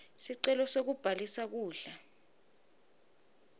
sicelo sekubhalisa kudla